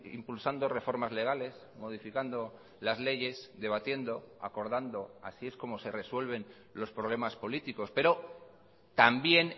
impulsando reformas legales modificando las leyes debatiendo acordando así es como se resuelven los problemas políticos pero también